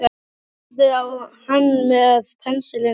Hún horfði á hann með pensilinn í höndunum.